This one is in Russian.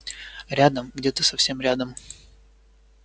рядом где-то совсем рядом